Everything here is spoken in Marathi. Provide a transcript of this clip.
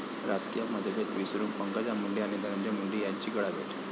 राजकीय मतभेद विसरून पंकजा मुंडे आणि धनंजय मुंडे यांची गळाभेट!